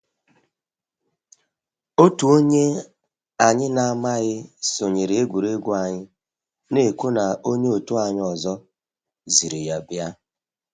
Otu onye anyị na amaghị sonyere egwuregwu anyị, na ekwu na onye otu anyị ọzọ ziri ya bịa